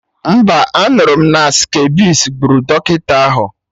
Mba, anụrụ m na skabisi gburu dọkịta ahụ